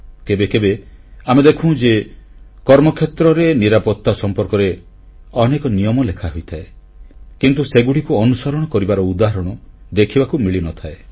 କେବେ କେବେ ଆମେ ଦେଖୁଁ ଯେ କର୍ମକ୍ଷେତ୍ରରେ ନିରାପତ୍ତା ସମ୍ପର୍କରେ ଅନେକ ନିୟମ ଲେଖାହୋଇଥାଏ କିନ୍ତୁ ସେଗୁଡ଼ିକୁ ଅନୁସରଣ କରିବାର ଉଦାହରଣ ଦେଖିବାକୁ ମିଳିନଥାଏ